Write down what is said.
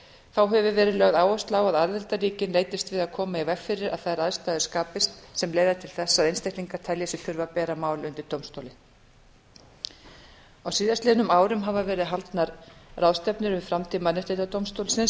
þá hefur verið lögð áhersla á að aðildarríkin leitast við að koma í veg fyrir að þær aðstæður skapist sem leiða til þess að einstaklingar telji sig þurfa að bera mál undir dómstólinn á síðastliðnum árum hafa verið haldnar ráðstefnur um samtíma dómstólsins